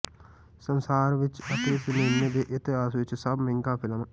ਸੰਸਾਰ ਵਿੱਚ ਅਤੇ ਸਿਨੇਮਾ ਦੇ ਇਤਿਹਾਸ ਵਿੱਚ ਸਭ ਮਹਿੰਗਾ ਫਿਲਮ